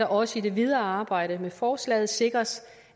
også i det videre arbejde med forslaget sikres